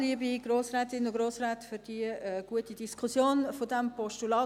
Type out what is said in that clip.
Vielen Dank für diese gute Diskussion zu diesem Postulat.